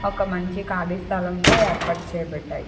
ఒక మంచి ఖాళీ స్థలం లో ఏర్పాటు చేయబడ్డాయి.